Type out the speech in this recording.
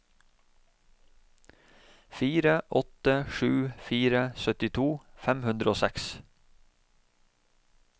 fire åtte sju fire syttito fem hundre og seks